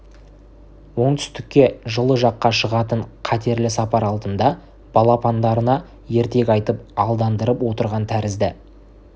оңтүстікке жылы жаққа шығатын қатерлі сапар алдында балапандарына ертек айтып алдандырып отырған тәрізді